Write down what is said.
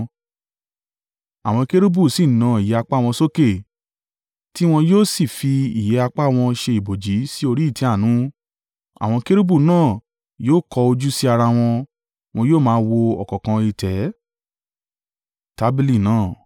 Àwọn kérúbù sì na ìyẹ́ apá wọn sókè, tí wọn yóò sì fi ìyẹ́ apá wọn ṣe ibòòji sí orí ìtẹ́ àánú. Àwọn kérúbù náà yóò kọ ojú sí ara wọn, wọn yóò máa wo ọ̀kánkán ìtẹ́.